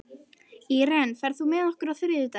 Íren, ferð þú með okkur á þriðjudaginn?